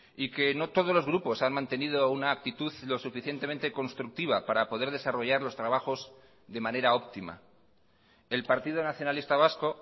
y que no todos los grupos han mantenido una actitud lo suficientemente constructiva para poder desarrollar los trabajos de manera óptima el partido nacionalista vasco